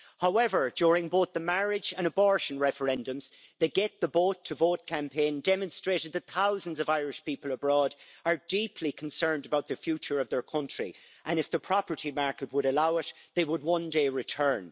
However, during both the marriage and abortion referendums, the Get the Boat to Vote' campaign demonstrated that thousands of Irish people abroad are deeply concerned about the future of their country and, if the property market would allow it, they would one day return.